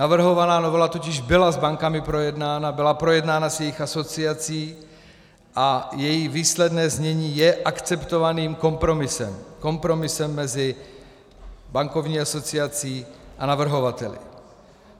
Navrhovaná novela totiž byla s bankami projednána, byla projednána s jejich asociací a její výsledné znění je akceptovaným kompromisem - kompromisem mezi bankovní asociací a navrhovateli.